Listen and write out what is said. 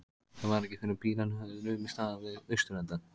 Það var ekki fyrren bílarnir höfðu numið staðar við austurenda